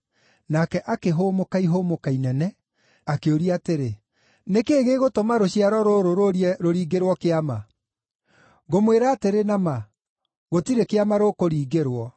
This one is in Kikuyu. Nake akĩhũmũka ihũmũka inene, akĩũria atĩrĩ, “Nĩkĩ gĩgũtũma rũciaro rũrũ rũũrie rũringĩrwo kĩama? Ngũmwĩra atĩrĩ na ma gũtirĩ kĩama rũkũringĩrwo.”